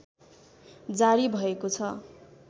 जारी भएको छ